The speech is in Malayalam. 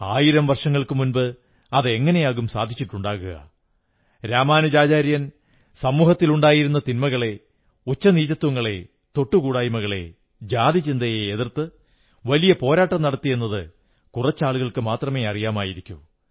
ആയിരം വർഷങ്ങൾക്കു മുമ്പ് അതെങ്ങനെയാകും സാധിച്ചിട്ടുണ്ടാകുക രാമാനുജാചാര്യൻ സമൂഹത്തിലുണ്ടായിരുന്ന തിന്മകളെ ഉച്ചനീചത്വങ്ങളെ തൊട്ടുകൂടായ്മകളെ ജാതിചിന്തയെ എതിർത്ത് വലിയ പോരാട്ടം നടത്തിയെന്ന് കുറച്ചാളുകൾക്കേ അറിയാമായിരിക്കൂ